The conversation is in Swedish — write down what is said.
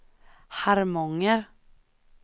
Harmånger